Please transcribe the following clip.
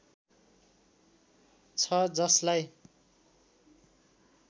छ जसलाई